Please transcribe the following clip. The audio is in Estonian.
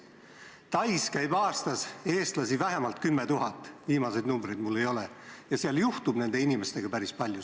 Tais käib aastas eestlasi vähemalt 10 000 – viimaseid numbreid mul küll ei ole – ja seal juhtub nende inimestega päris palju.